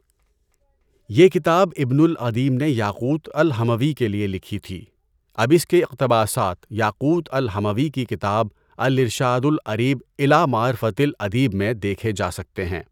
یہ کتاب اِبنُ العَدِیم نے یاقوت الْحَمَوِی کے لیے لکھی تھی، اب اِس کے اِقتباسات یاقوت الحَمَوِی کی کتاب الِارشار الأَریب اِلیٰ مَعْرِفَۃِ الأَدِیب میں دیکھے جا سکتے ہیں۔